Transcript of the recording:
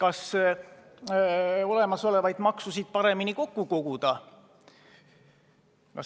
Esiteks, olemasolevaid makse paremini kokku koguda.